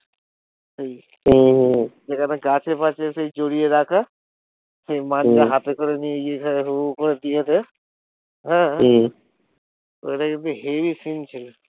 হম যেখানে গাছে ফাছে সেই জড়িয়ে রাখে সেই মাঞ্জা হম হাতে করে নিয়ে গিয়ে আহ হম ঐটা কিন্তু হেবি scene ছিল